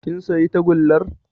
Kin sayi tagullar